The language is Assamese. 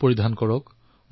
মাস্ক পৰিধান কৰক